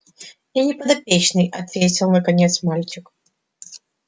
я не подопечный ответил наконец мальчик